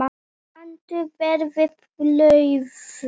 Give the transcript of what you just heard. Kanntu vel við rauðvín?